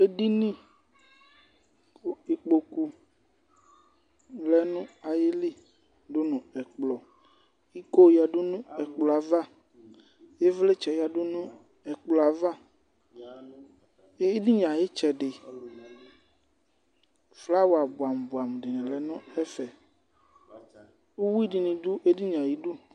Edinì ku ekpoku lɛ nu ayili du nu ɛkplɔ ,iko yadu nu ekplɔɛ ava, ivlitsɛ yadu nu ɛkplɔ ava, ediníe ayi itsɛdi, flawa buamubuamu dini lɛ nu ɛfɛ, uwi dini du edinìe ayi dù